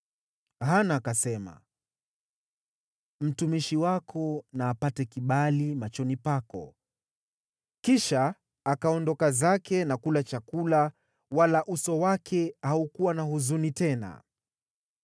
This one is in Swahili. Hana akasema, “Mtumishi wako na apate kibali machoni pako.” Kisha akaondoka zake na kula chakula, wala uso wake haukuwa na huzuni tena.